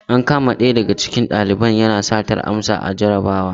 An kama ɗaya daga cikin valiban yana satar amsa ana jarabawar.